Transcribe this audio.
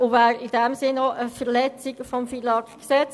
In dem Sinn würde es sich um eine Verletzung des FILAG handeln.